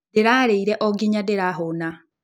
Ndĩrarĩire o nginya ndĩrahũũna.